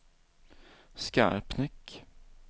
Skarpnäck